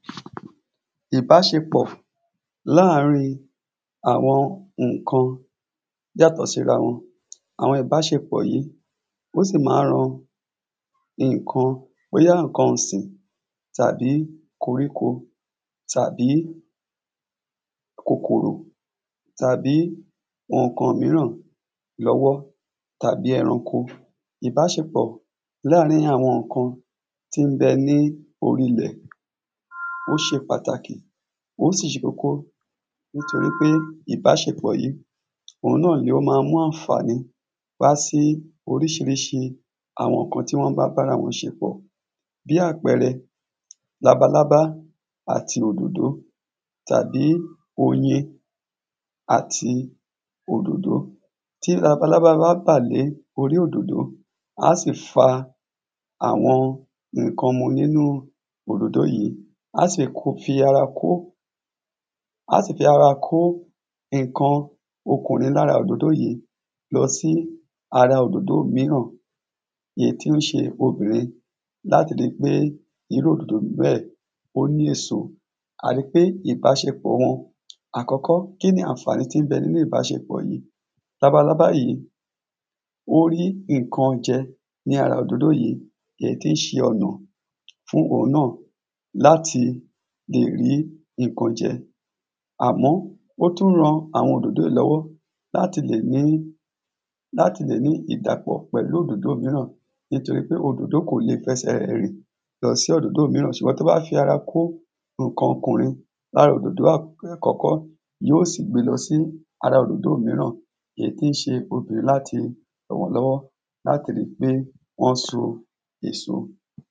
ìbáṣepọ̀ láàárín àwọn ǹkan yátọ̀ síra wọn àwọn ìbáṣepọ̀ yí ó sì má ń ran iǹkan bóyá iǹkan sìn tàbí koríko tàbí kòkòrò tàbí àwọn ǹkan míràn lọ́wọ́ tàbí ẹranko ìbáṣepọ̀ láàárín àwọn ǹkan tí ń bẹ ní orílẹ̀ ó ṣe pàtàkì ó sì ṣe kókó nítorí pé ìbáṣepọ̀ yí òun náà ni ó ma mú àǹfàní wá sí oríṣiríṣi àwọn ǹkan tí wọ́n bá bára wọn ṣepọ̀ bí àpẹẹrẹ labalábá àti òdòdò tàbí oyin àti òdòdò tí labalábá bá bà lé orí òdòdò á sì fa àwọn ǹkan mu nínú òdòdò yí á sì fi ara kó á sì fi ara kó iǹkan okun ni lára òdòdò yí lọ sí ara òdòdò míràn èyí tó ṣe pobìnrin láti ripé irú òdòdò bẹ́ẹ̀ ó ní èso a ri pé ìbáṣepọ̀ wọn àkọ́kọ́ kí ni àǹfàní tí n bẹ nínú ìbáṣepọ̀ yí labalábá yí ó rí ǹkan jẹ ní ara òdòdò yí èyí tí ń ṣe ọ̀nà fún òun náà láti lèrí iǹkan jẹ àmọ́ ó tún ran àwọn òdòdò lọ́wọ́ láti lè ní láti lè ní ìdàpọ pẹ̀lú òdòdò míràn nítorí pé òdòdò kò le fẹsẹ̀ rìn lọ sí òdòdò míràn ṣùgbọ́n tó ba fi ara kó ǹkan ọkùnrin lára òdòdò kọ́kọ́ yóò sì gbe lọ sí ara òdòdò míràn èyí tí ń ṣe obìnrin láti ràn wọ́n lọ́wọ́ láti ri pé wọ́n so èso